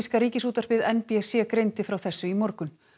namibíska Ríkisútvarpið n b c greindi frá þessu í morgun